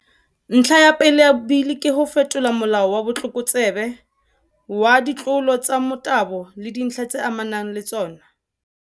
Ntlha ya pele ya Bili ke ho fetola Molao wa Botlokotsebe wa ditlolo tsa Motabo le Dintlha tse Amanang le Tsona.